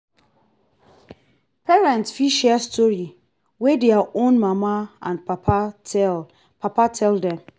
parents fit share story wey their own mama and papa tell papa tell dem